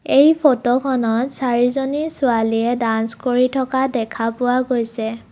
এই ফটোখনত চাৰিজনী ছোৱালীয়ে ডাঞ্চ কৰি থকা দেখা পোৱা গৈছে।